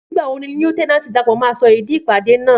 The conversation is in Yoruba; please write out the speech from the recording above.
Nígbàwo ní líéutènànti Dàpọ̀ má sọ ìdí ìpàdé náà